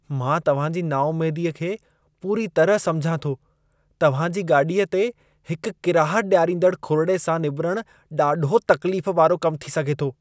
मां तव्हां जी नाउमेदीअ खे पूरी तरह समुझां थो। तव्हां जी गाॾीअ ते हिकु किराहत ॾियारींदड़ खुरिड़े सां निबिरणु ॾाढो तकलीफ़ वारो कमु थी सघे थो।